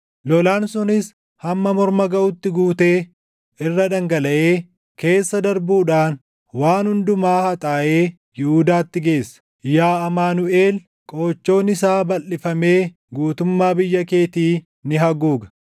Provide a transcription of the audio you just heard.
Lolaan sunis hamma morma gaʼutti guutee irra dhangalaʼee keessa darbuudhaan waan hundumaa haxaaʼee Yihuudaatti geessa. Yaa Amaanuʼel! + 8:8 Amaanuʼel jechuun Waaqni nu wajjin jira jechuu dha. Qoochoon isaa balʼifamee guutummaa biyya keetii ni haguuga.”